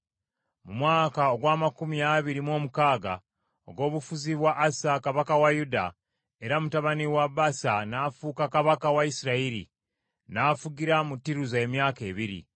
Mu mwaka ogw’amakumi abiri mu omukaaga ogw’obufuzi bwa Asa kabaka wa Yuda, Era mutabani wa Baasa n’afuuka kabaka wa Isirayiri; n’afugira mu Tiruza emyaka ebiri.